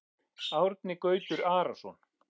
Árni Gautur Arason